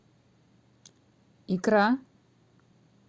икра